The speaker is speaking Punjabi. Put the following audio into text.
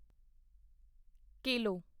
ਕੇਲੋ